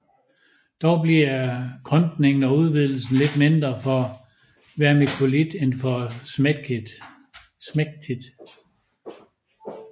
Dog bliver krympningen og udvidelsen lidt mindre for vermikulit end for smektit